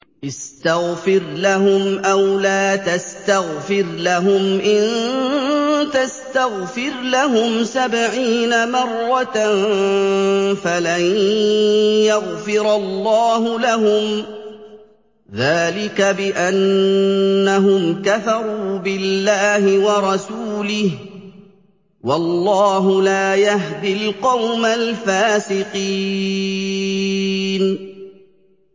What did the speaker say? اسْتَغْفِرْ لَهُمْ أَوْ لَا تَسْتَغْفِرْ لَهُمْ إِن تَسْتَغْفِرْ لَهُمْ سَبْعِينَ مَرَّةً فَلَن يَغْفِرَ اللَّهُ لَهُمْ ۚ ذَٰلِكَ بِأَنَّهُمْ كَفَرُوا بِاللَّهِ وَرَسُولِهِ ۗ وَاللَّهُ لَا يَهْدِي الْقَوْمَ الْفَاسِقِينَ